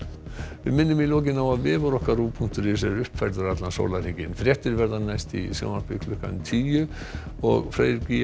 við minnum í lokin á að vefur okkar punktur is er uppfærður allan sólarhringinn fréttir verða næst í sjónvarpi klukkan tíu og Freyr